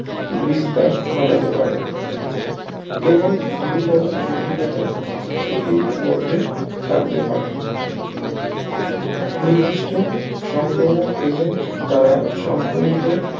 বিস্তার ঘটাতে পারে এবং গুরুতর জটিলতার ঝুঁকির মধ্যে থাকতে পারেন নির্দিষ্ট সংক্রমক এজেন্ট দ্বারা সংক্রমিত